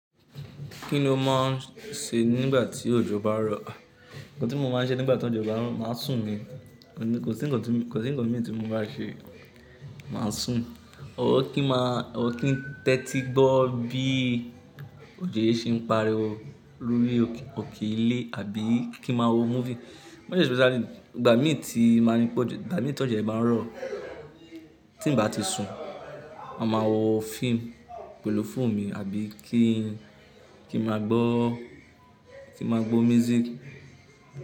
Kí ni o mò ń ṣe nígbà tí òjò bá ń rọ̀? Nǹkan tí mo máa ń ṣe nígbà tí òjò bá ń rọ̀, màá sùn ni. Kò sí ńǹkan mi tí mo má ṣe, màá sùn. Ó kí ń tẹ́tí gbọ́ bí òjò yí ṣe ń pariwo lórí òkè ilé àbí kí màá wo movie. Mọ́st especially ìgbà mi tó jó yen bá ń rọ̀ tí ń bá ti sùn, màá máa wo fíìmù pẹ̀lú fóònù mi àbí kí màá gbọ́ kí ma gbọ́ music.